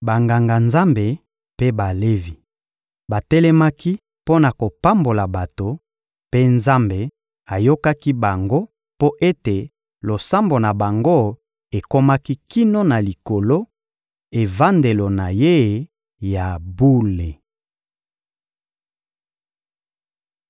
Banganga-Nzambe mpe Balevi batelemaki mpo na kopambola bato, mpe Nzambe ayokaki bango mpo ete losambo na bango ekomaki kino na Likolo, evandelo na Ye ya bule.